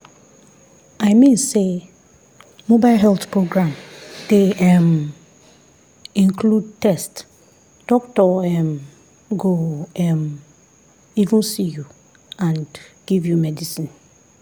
i mean say mobile health program dey um include test doctor um go um even see you and give you medicine.